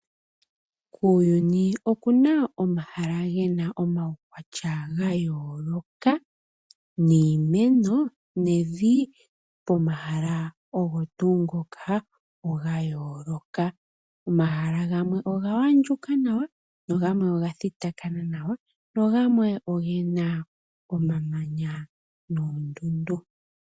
Kuuyuni okuna omahala gena omaukwatya wa yooloka, niimeno, nemvi pomahala ogo tuu ngoka, oya gooloka. Omahala gamwe oga handjuka nawa, nogamwe oga thitakana nawa, nogamwe ogena omamanya noondundu.